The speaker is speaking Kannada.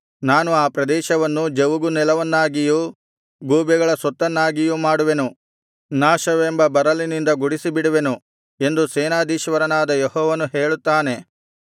ನಾನು ಆ ಪ್ರದೇಶವನ್ನು ಜವುಗು ನೆಲವನ್ನಾಗಿಯೂ ಗೂಬೆಗಳ ಸೊತ್ತನ್ನಾಗಿಯೂ ಮಾಡುವೆನು ನಾಶವೆಂಬ ಬರಲಿನಿಂದ ಗುಡಿಸಿಬಿಡುವೆನು ಎಂದು ಸೇನಾಧೀಶ್ವರನಾದ ಯೆಹೋವನು ಹೇಳುತ್ತಾನೆ